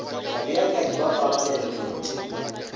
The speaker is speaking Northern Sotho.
babeakanyi ba pabalelo mehuteng ya